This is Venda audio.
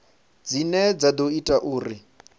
dzine dza ḓo ita uri